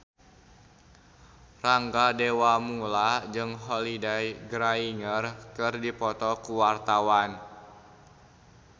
Rangga Dewamoela jeung Holliday Grainger keur dipoto ku wartawan